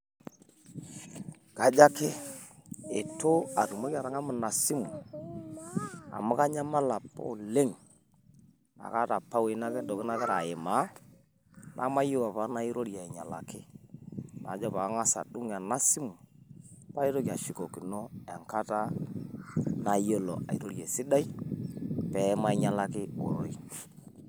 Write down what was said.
Kajo ake, eitu atumoki atang'amu ina simu amu kanyamal opa oleng' naa kaata opa iwuejitin, ntokitin nagira aimaa, nemayieu opa nairorie ainyalaki, najo paang'as adung' ena simu, paitoki ashukokino enkata naayiolo airorie esidai, peemainyalaki ororei.